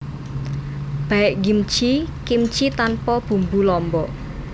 Baekgimchi kimchi tanpa bumbu lombok